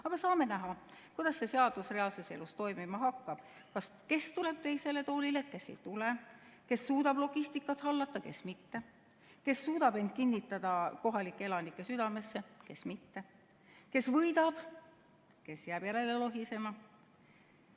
Aga saame näha, kuidas see seadus reaalses elus toimima hakkab – kes tuleb teisele toolile, kes ei tule, kes suudab logistikat hallata, kes mitte, kes suudab end kinnitada kohalike elanike südamesse, kes mitte, kes võidab, kes jääb järele lohisema.